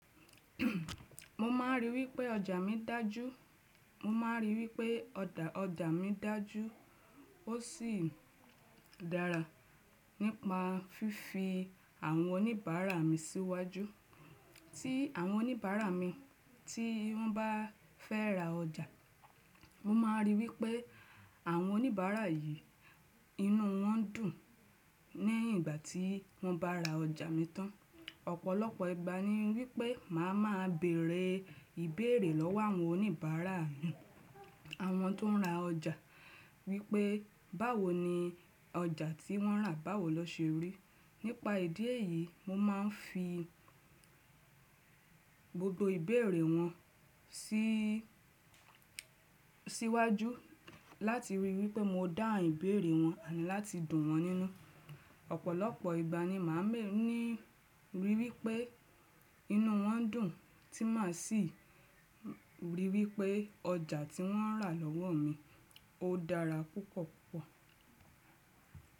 Mo máa rí wí pé ọjà mi dájú. Mo máa rí í wipé ọ̀dà ọjà mi dájú, ó sì dára nípa fífi àwọn oníbàárà mi síwájú. Tí àwọn oníbàárà mi tí wọ́n bá fẹ́ ra ọjà, mo máa rí í wipé àwọn oníbàárà yìí, inú wọ́n dùn níyìn ìgbà tí wọ́n bá ra ọjà mi tán. Ọ̀pọ̀lọpọ̀ ìgbà ni wípé màá máa bèrè ìbéèrè lọ́wọ́ àwọn oníbàárà mi, àwọn tó ń ra ọjà, wí pé báwo ni ọjà tí wọ́n rà báwo lọ ṣe rí. Nípa ìdí èyí, mo máa ń fi gbogbo ìbéèrè wọn sí síwájú láti rí í wipé mo dáhun ìbéèrè wọn àni láti dùn wọ́n nínú. Ọ̀pọ̀lọpọ̀ ìgbà ni màá máa rí í wipé inú wọ́n dùn, tí màá sì rí í wipé ọjà tí wọ́n rà lọ́wọ́ mi, ó dára púpọ̀ púpọ̀.